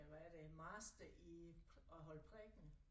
Ja hvad er det master i at holde prædiken